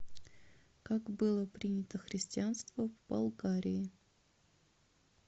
как было принято христианство в болгарии